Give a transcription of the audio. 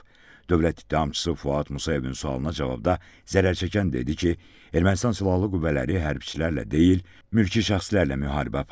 Dövlət ittihamçısı Fuad Musayevin sualına cavabda zərər çəkən dedi ki, Ermənistan Silahlı Qüvvələri hərbiçilərlə deyil, mülki şəxslərlə müharibə aparıb.